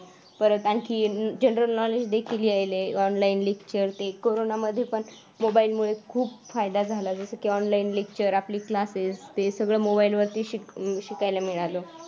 परत आणखी general knowledge देखील याय लय online lecture ते corona मध्ये पण mobile ल मुळे खूप फायदा झाला जसं की online lecture आपले classes ते सगळं mobile लवरती शिकायला मिळाल.